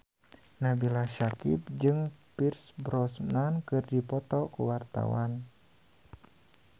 Nabila Syakieb jeung Pierce Brosnan keur dipoto ku wartawan